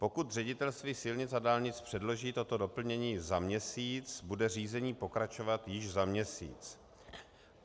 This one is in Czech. Pokud Ředitelství silnic a dálnic předloží toto doplnění za měsíc, bude řízení pokračovat již za měsíc.